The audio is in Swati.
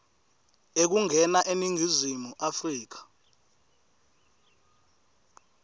ekungena eningizimu afrika